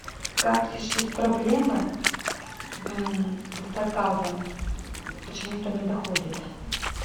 как решить проблемы с заказом почему то не доходит